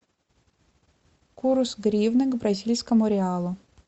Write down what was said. курс гривны к бразильскому реалу